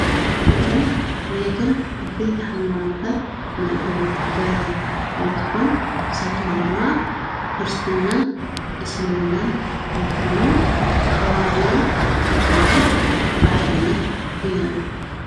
ትግራይ ናይቶም ዓበይቲ ሃይማኖታት መእተዊት በሪ እንትኮን ንሳቶም ድማ፦ ክርስትናን እስልምናን እንትኮኑ ተከባቢሮም ኣብ ትግራይ ብሓደነት ይነብሩ።